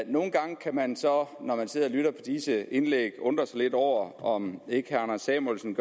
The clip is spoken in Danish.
nogle gange kan man så når man sidder og lytter til disse indlæg undre sig lidt over om ikke herre anders samuelsen